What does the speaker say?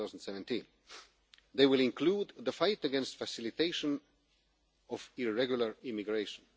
May 2017. They will include the fight against the facilitation of irregular immigration.